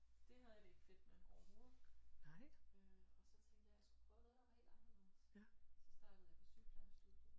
Det havde jeg det ikke fedt med overhovedet øh og så tænkte jeg jeg skulle prøve noget der var helt anderledes ja så startede jeg med sygeplejerstudiet